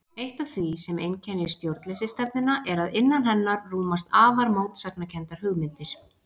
Eitt af því sem einkennir stjórnleysisstefnuna er að innan hennar rúmast afar mótsagnakenndar hugmyndir.